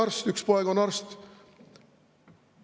Mul on üks poeg arst.